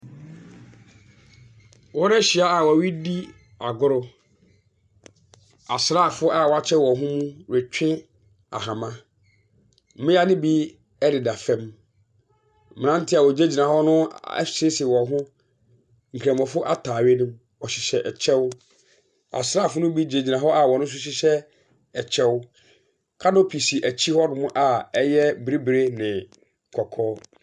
Wɔn ahyia a ɔredi agoro. Asrafoɔ a wɔakyɛ wɔn ho mu ɛretwe ahoma. Mmia no bi ɛdeda fam. Mmaranteɛ a ɔgyinagyina hɔ no ahyehyɛ wɔn hɔ nkramofoɔ ataare. Ɔhyehyɛ ɛkyɛw. Asrafoɔ no bi gyinagyina hɔ a wɔn nso hyehyɛ ɛkyɛw. Canopy si akyire hɔ nom a ɛyɛ bibiri ne kɔkɔɔ.